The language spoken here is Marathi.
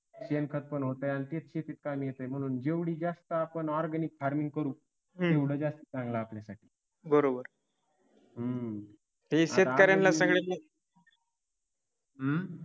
शेणखत पण होतंय आणि तेच शेतीत कामी येतय म्हणून जेवढी जास्त आपण organic farming करू तेवढ जास्त चांगला आहे आपल्यासाठी हम्म अं